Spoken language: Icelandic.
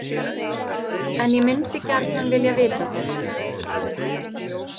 En ég myndi gjarnan vilja vita það.